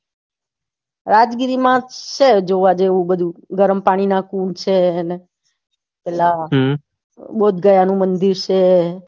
રાજગીરીમાં છે જોવા જેવું બધું ગરમ પાણીના કુંડ છે ને પેલા બુદ્ધગયા નું મંદિર છે